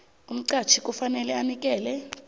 umqatjhi kufanele anikele